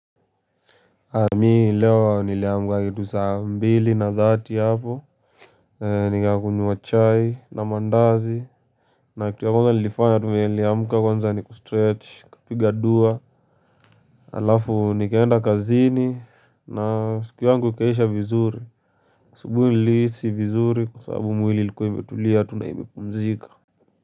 Mii leo niliamuka kitu saa mbili na dhati hapo nikakunywa chai na mandazi na kitu ya kwanza nilifanya tu vile niliamka kwanza ni kustretch kapiga dua alafu nikaenda kazini na siku yangu ikaisha vizuri usubuhi nilihisi vizuri kwa sababu mwili ilikua imetulia tu na imepumzika.